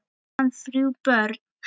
Á hann þrjú börn.